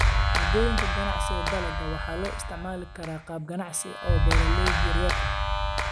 Moodooyinka Ganacsiga Dalagga waxaa loo isticmaali karaa qaab ganacsi oo beeralayda yaryar ah.